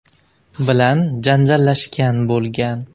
bilan janjallashgan bo‘lgan.